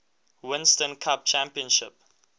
winston cup championship